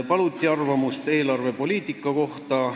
Paluti arvamust eelarvepoliitika kohta.